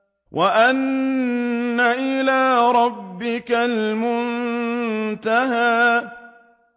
وَأَنَّ إِلَىٰ رَبِّكَ الْمُنتَهَىٰ